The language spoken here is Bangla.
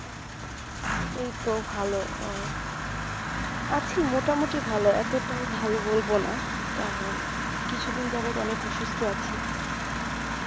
এই তো ভালো আহ আছি মোটামোটি ভালো এতটাও ভালো বলবো না কারণ কিছুদিন যাবত অনেক অসুস্থ আছি